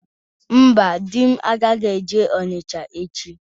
Mba, di m agaghị eje Onitsha echi.